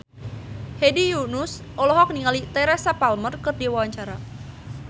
Hedi Yunus olohok ningali Teresa Palmer keur diwawancara